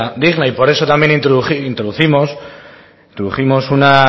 vida digna y por eso también introdujimos una